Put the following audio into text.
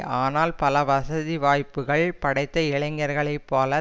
ஆனால் பல வசதி வாய்ப்புக்கள் படைத்த இளைஞர்களை போல